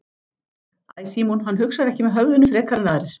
Æ Símon, hann hugsar ekki með höfðinu frekar en aðrir.